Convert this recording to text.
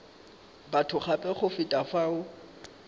batho gape go feta fao